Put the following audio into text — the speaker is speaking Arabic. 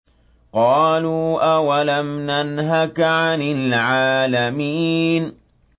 قَالُوا أَوَلَمْ نَنْهَكَ عَنِ الْعَالَمِينَ